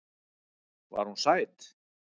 Var hún sæt?